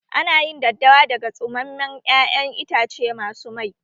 Ana yin daddawa daga tsumammen ƴaƴan itace masu mai